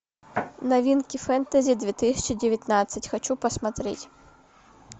новинки фэнтези две тысячи девятнадцать хочу посмотреть